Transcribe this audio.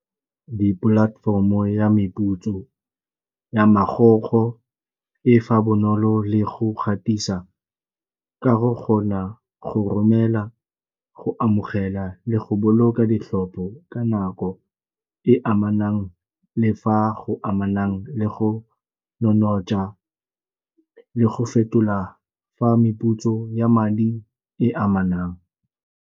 Di-platform-o ya meputso ya magogo e fa bonolo le go gatisa ka go kgona go romela, go amogela le go boloka ditlhopho ka nako e amanang le fa go amanang le go le go fetola fa meputso ya madi e amanang.